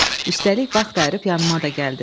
Üstəlik vaxt ayırıb yanıma da gəldiz.